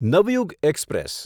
Navyug express